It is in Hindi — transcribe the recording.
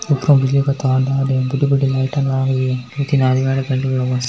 का तार डाल रहे बड़ी बड़ी लाइटा लाग रही है दो तीन आदमी --